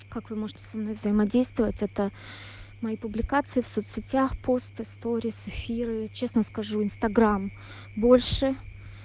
как вы можете со мной взаимодействовать это мои публикации в соцсетях посты сторисы эфиры честно скажу инстаграм больше